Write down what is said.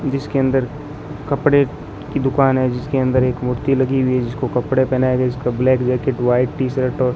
जिसके अंदर कपड़े की दुकान है जिसके अंदर एक मूर्ति लगी हुई है जिसको कपड़े पहनाए गए जिसका black jacket white T shirt और --